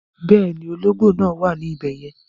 Bẹ́ẹ̀ni, ọlọ́gbò náà wà ní ibẹ̀yẹ̀n